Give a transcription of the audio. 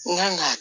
N kan ka